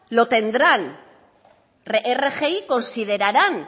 lo tendrán rgi considerarán